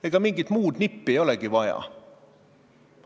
Ega mingit muud nippi ei olegi vaja.